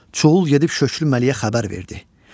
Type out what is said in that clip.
Çuğul edib Şöklü Məlikə xəbər verdi.